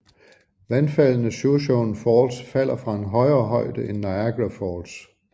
Vandfaldene Shoshone Falls falder fra en højere højde end Niagara Falls